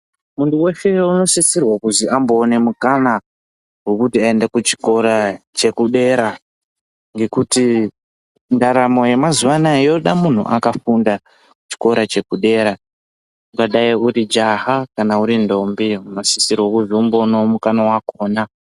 Muntu vese unosisrwa kuzi amboone mukana vekuti aende kuchikora chekudera. Ngekuti ndaramo yemazuva anaya yoda muntu akafunda chikora chekudera. Ungadai uru jaha kana uri ndombi unosisrwe kuzomboonavo mukana vakona.